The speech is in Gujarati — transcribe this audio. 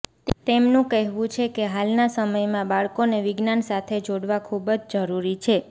તેમનું કહેવું છે કે હાલના સમયમાં બાળકોને વિજ્ઞાન સાથે જોડવાં ખૂબ જ જરૂરી છે